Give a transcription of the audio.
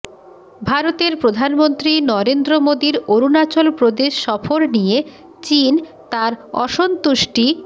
ভারতের প্রধানমন্ত্রী নরেন্দ্র মোদির অরুণাচল প্রদেশ সফর নিয়ে চীন তার অসন্তুষ্টি